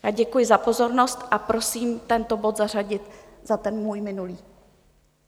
Já děkuji za pozornost a prosím tento bod zařadit za ten můj minulý.